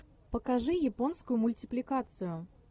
покажи японскую мультипликацию